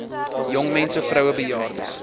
jongmense vroue bejaardes